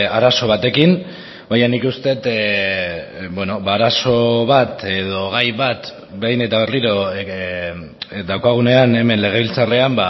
arazo batekin baina nik uste dut arazo bat edo gai bat behin eta berriro daukagunean hemen legebiltzarrean